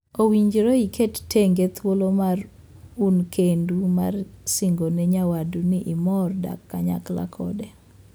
Owinjore iket tenge thuolo ma un kendu mar singone nyawadu ni imor dak kanyakla kode.